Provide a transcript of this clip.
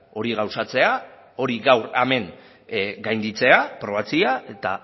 hori gauzatzea hori gaur hemen gainditzea aprobatzea